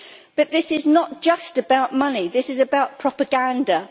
But this is not just about money this is about propaganda.